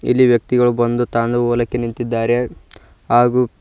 ಇಲ್ಲಿ ವ್ಯಕ್ತಿಗಳು ಬಂದು ತಂದು ಹೊಲಕ್ಕೆ ನಿಂತಿದ್ದಾರೆ ಹಾಗು--